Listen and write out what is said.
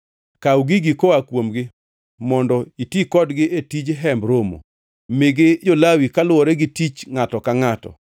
“Kaw gigi koa kuomgi, mondo iti kodgi e tij Hemb Romo. Migi jo-Lawi kaluwore gi tich ngʼato ka ngʼato.”